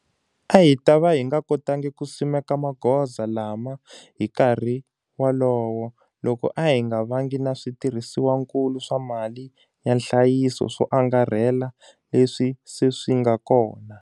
A hi ta va hi nga kotangi ku simeka magoza lama hi nkarhi lowo koma loko a hi nga vangi na switirhisiwakulu swa mali ya nhlayiso swo angarhela leswi se swi nga kona.